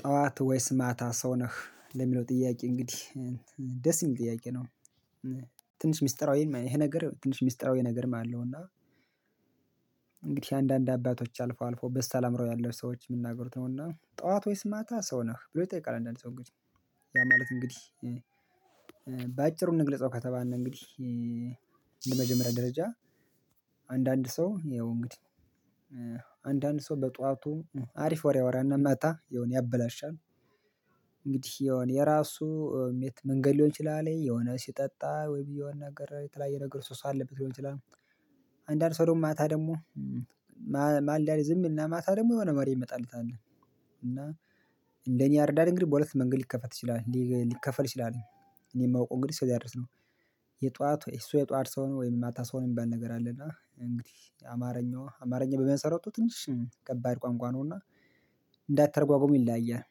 ጠዋት ወይስ ማታ ሰው ነህ ለሚለው ጥያቄ እንግዲህ ደስ የሚል ጥያቄ ነው? ትንሽ ሚስጥራዊ ይሄ ነገር ትንሽ ሚስጥራዊ ነገር አለው። እና እንግዲህ አንዳንድ አባቶች አልፎ አልፎ በሳል አእምሮ ያለው ሰዎች የምናገሩት ነውና ጠዋት ወይስ ማታ ሰው ነህ ብሎ ይጠይቃል አንዳንድ ሰው እንግዲህ ያ ማለት እንግዲህ በአጭሩ እንግልፀው ከተባነ እንግዲህ የመጀመሪያ ደረጃ። ሰው ያው እንግዲህ አንዳንድ ሰው በጧቱ አሪፍ ወሬ አወራና መጣ የሆነ ያበላሻን እንግዲህ የሆነ የራሱ መንገድ ሊሆን ይችላል የሆነ ሲጠጣ ወይ ብዬ ነገር የተለያየ ነገር ሰው ሰው አለበት ሊሆን ይችላል። አንዳንድ ሰው ደግሞ ማታ ደግሞ ማልዳ ላይ ዝም ይልና እና ማታ ደግሞ የሆነ ወሬ የሚመጣለት አለ እና እንደኔ ያርዳል እንግዲህ በሁለት መንገድ ሊከፈት ይችላል ሊከፈል ይችላል። እኔ የማውቀው እንግዲህ እሱ ያድርስ ነው። የጧት እሱ የጧት ሰው ነው ወይ እናታ ሰው የሚባል ነገር አለ እና እንግዲህ አማርኛዋ አማርኛ በመሰረቱ ትንሽ ከባድ ቋንቋ ነውና። እንዳትተረጓጉም ይለያያል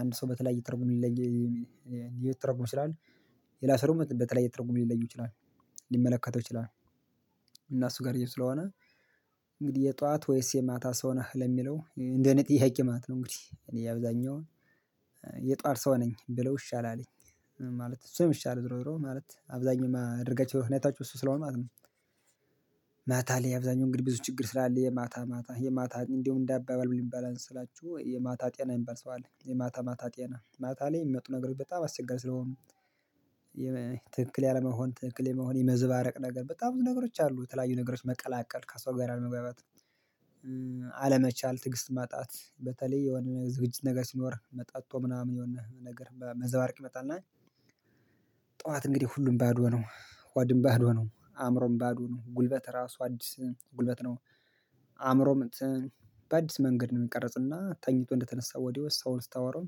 አንድ ሰው በተለይ እየተረጎመ ይለያያል ሊተረጎም ይችላል። የላሰሩም በተለያየ ትርጉም ሊለዩ ይችላል ሊመለከተው ይችላል። እና እሱ ጋር ይሄው ስለሆነ እንግዲህ የጧት ወይስ የማታ ሰው ነህ ለሚለው እንደኔ ጥያቄ ማለት ነው? እንግዲህ ነው እኔ አብዛኛውን የጠዋት ሰው ነኝ ብለው ይሻላለኝ ማለት እሱ ነው ሚሻለው ዙሮ ዙሮ ማለት አብዛኛው ማደርጋቸው ሁኔታዎች እሱ ስለሆነ። ማለት አብዛኛው እንግዲህ ብዙ ችግር ስላለ የማታ ማታ የማታ እንደውም እንደ አባባሉ ምን ይባላል መሰላችሁ የማታ ጤና የሚባል ሰው አለ የማታ ማታ ጤና ማታ ላይ የሚመጡ ነገሮች በጣም አስቸጋሪ ስለሆኑ። ትክክል ያለመሆን ትክክል የመሆን የመዘባረቅ ነገር በጣም ብዙ ነገሮች አሉ ተለያዩ ነገሮች መቀላቀል ከሰው ጋር አለመግባባት አለመቻል ትዕግስት ማጣት በተለይ የሆነ ዝግጅት ነገር ሲኖርህ ጠጥቶ ምናምን የሆነ ነገር መዘባረቅ ይመጣል። እና ጥዋት እንግዲህ ሁሉም ባዶ ነው ሆድም ባዶ ነው አዕምሮም ባዶ ነው ጉልበት ራሱ አዲስ ጉልበት ነው አዕምሮም በአዲስ መንገድ ነው እሚቀርጽና ተኝቶ እንደተነሳ ወዲያው ሰውን ስታወራው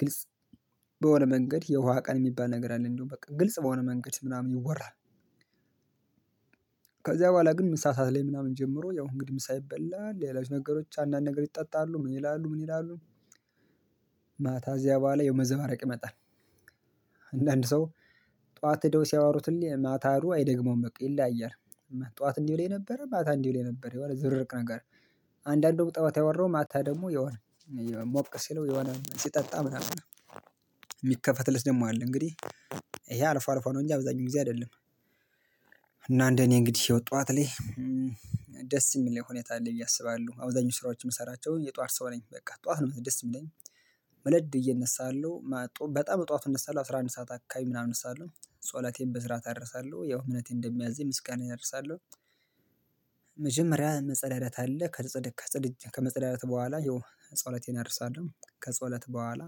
ግልጽ በሆነ መንገድ የውሃ ቀን እሚባል ነገር አለ እንደው በቃ ግልጽ በሆነ መንገድ ምናምን ይወራል። ከዚያ ቡሃላ ግን ምሳ ሰዓት ላይ ምናምን ጀምሮ ያው እንግዲህ ምሳ ይበላል ሌሎች ነገሮች አንዳንድ ነገሮች ይጠጣሉ ምን ይላሉ ምን ይላሉ ማታ እዚያ ቡሃላ ያው መዘባረቅ ይመጣል። አንዳንድ ሰው ጥዋት ሄደው ሲያወሩት እሌ ማታ ሂዶ አይደግመውም በቃ ይለያያል። ጥዋት እንዲህ ብለኸኝ ነበረ ማታ እንዲህ ብለኸኝ ብለህ ነበረ የሆነ ዝብርቅርቅ ነገር አንዳንዱ ጥዋት ያወራውን ማታ ደግሞ የሆነ ሞቅ ሲለው የሆነ ሲጠጣ ምናምን እሚከፈት ደግሞ አለ እንግዲህ ይሄ አልፎ አልፎ ነው እንጂ አብዛኛውን ጊዜ አይደለም። እና እንደኔ እንግዲህ ጥዋት ላይ ደስ እሚለኝ ሁኔታ አለኝ ብየ አስባለሁ አብዛኞች ስራዎችን እምንሰራቸው የጧት ሰው ነኝ በቃ ጥዋት ነው ደስ እምለኝ መለድ ብየ እነሳለሁ አለው በጣም በጥዋቱ እነሳለሁ አስራ አንድ ሰዓት አካባቢ ምናምን እነሳለሁ ጸሎቴን በስርዓት አደርሳለሁ ያው እምነቴ እንደሚያዘኝ ምስጋናየን አደርሳለሁ። መጀመሪያ መጸዳዳት አለ ከመፀዳዳት ቡሃላ ጸሎቴን አደርሳለሁ ከጸውለት በኋላ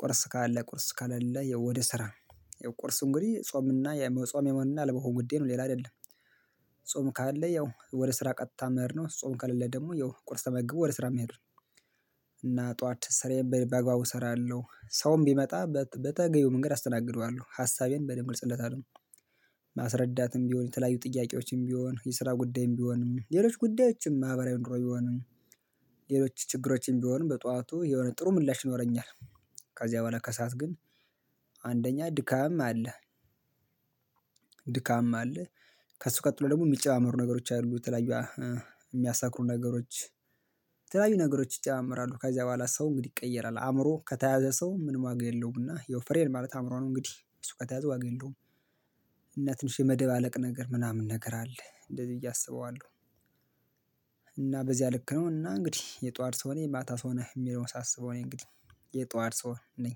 ቁርስ ካለ ቁርስ ካሌለ ያው ወደ ስራ ቁርሱ እንግዲህ ጾም እና የመጾምና ያለመፆም ጉዳይ ነው ሌላ አይደለም። ጾም ካለ ያው ወደ ስራ ቀጥ መሄድ ነው ጾም ከሌለ ደግሞ ያው ቁርስ ተመግቦ ወደ ስራ መሄድ ነው። እና ጥዋት ስራዬን በአግባቡ እሰራለሁ ሰውም ቢመጣ በተገቢው መንገድ አስተናግደዋለሁ ሀሳቤን በደንብ ግልጽለታለሁ ማስረዳትም ቢሆን የተለያዩ ጥያቄዎችም ቢሆን የስራ ጉዳይም ቢሆንም ሌሎች ጉዳዮችም ማህበራዊ ኑሮ ቢሆንም ችግሮችም ቢሆን በጧቱ የሆነ ጥሩ ምላሽ ይኖረኛል። ከዚያ በኋላ ከሰአት ግን አንደኛ ድካም አለ። ድካምም አለ ከሱ ቀጥሎ ደግሞ እሚጨባመሩ ነገሮች አሉ የተለያዩ እሚያሰክሩ ነገሮች የተለያዩ ነገሮች ይጨማመራሉ ከዛ ቡሃላ ሰው እንግዲህ ይቀየራል አእምሮ ከተያዘ ሰው ምን ዋጋ የለውም እና ያው ፍሬን ማለት አእምሮ ነው እንግዲህ እሱ ከተያዘ ዋጋ የለውም። እና ትንሽ የመደባለቅ ነገር ምናምን ነገር አለ እንደዚህ ብዬ አስበዋለሁ። እና በዚያ ልክ ነው እና እንግዲህ የጧት ሰው ነው የማታ ሰው ነው እሚለውን ሳስበው እኔ እንግዲህ የጧት ሰው ነኝ።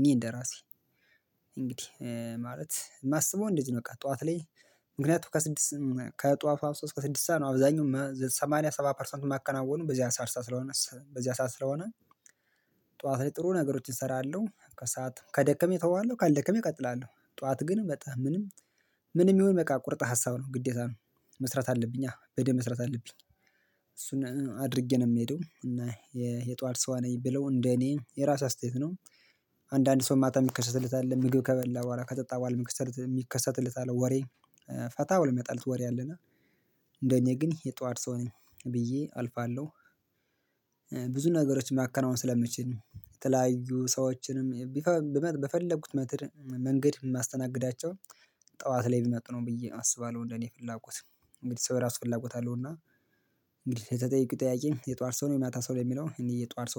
እኔ እንደ ራሴ እንግዲህ ማለት የማስበው እንደዚህ ነው በቃ ጥዋት ላይ ምክንያቱም ከጧቱ ሶስት እስከ ስድስት ሰዓት ነው አብዛኛው ሰማንያ ሰባ ፐርሰንቱ እማከናወነው በዚህ ሰዓት ስለሆነ በዚህ ሰዓት ስለሆነ። ጥዋት ላይ ጥሩ ነገሮችን እሰራለሁ ከሰአት ከደከመኝ እተወዋለሁ ካልደከመኝ እቀጥላለሁ ጥዋት ግን በቃ ምንም ምንም ይሁን በቃ ቁርጥ ሀሳብ ነው ግዴታ ነው መስራት አለብኛ በደንብ መስራት አለብኝ። እሱን አድርጌ ነው እምሄደው እና የጧት ሰው ነኝ ብለው እንደ እኔ የራሴ አስተያየት ነው። አንዳንድ ሰው ማታ የሚከሰትለት አለ ምግብ ከበላ በኋላ ከጠጣ በኋላ የሚከሰትለት አለ ወሬ ፈታ ብሎ እሚመጣለት ወሬ አለና እንደ እኔ ግን የጧድ ሰው ነኝ ብዬ አልፋለሁ። ብዙ ነገሮች ማከናወን ስለምችል የተለያዩ ሰዎችንም በፈለጉት መንገድ እማስተናግዳቸው ጥዋት ላይ ቢመጡ ነው ብዬ አስባለሁ እንደኔ ፍላጎት እንግዲህ ሰው ራሱ ፍላጎት አለውና። እንግዲህ ለተጠየቀው ጠያቂ የጧር ሰው ነው የማታ ሰው ነው ለሚለው እኔ የጧት ሰው